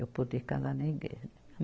Eu poder casar na igreja.